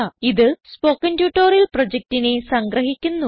ഇത് spoken tutorial പ്രൊജക്റ്റിനെ സംഗ്രഹിക്കുന്നു